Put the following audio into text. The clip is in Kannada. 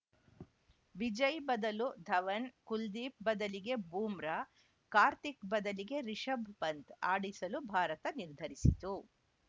ವಿಜಯ್‌ ಬದಲು ಧವನ್‌ ಕುಲ್ದೀಪ್‌ ಬದಲಿಗೆ ಬೂಮ್ರಾ ಕಾರ್ತಿಕ್‌ ಬದಲಿಗೆ ರಿಶಭ್‌ ಪಂತ್‌ ಆಡಿಸಲು ಭಾರತ ನಿರ್ಧರಿಸಿತು